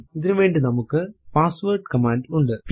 ഇതിനുവേണ്ടി നമുക്ക് password command ഉണ്ട്